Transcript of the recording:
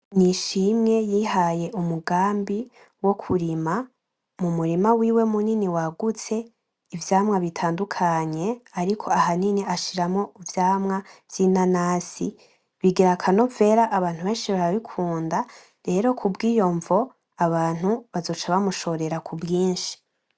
Nishimwe yihaye umugambi wokurima mumurima wiwe munini wagutse ivyamwa bitandukanye ariko ahanini ashiramwo ivyamwa vy'inanasi, bigira akanovera abantu beshi barabikunda rero kubwiyo mvo abantu bazoca bamushorera kubwishi